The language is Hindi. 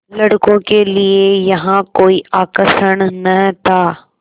लड़कों के लिए यहाँ कोई आकर्षण न था